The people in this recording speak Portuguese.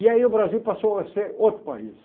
E aí o Brasil passou a ser outro país.